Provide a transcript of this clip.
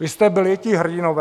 Vy jste byli ti hrdinové?